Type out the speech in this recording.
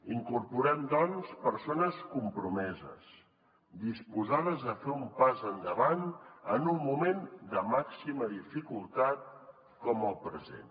incorporem doncs persones compromeses disposades a fer un pas endavant en un moment de màxima dificultat com el present